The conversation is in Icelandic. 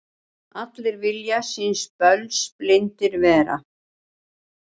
Allir vilja síns böls blindir vera.